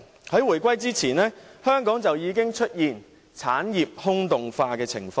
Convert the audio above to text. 在回歸前，香港已經出現產業空洞化的情況。